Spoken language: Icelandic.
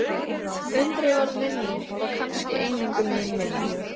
Undrið varð minning og kannski eingöngu mín minning.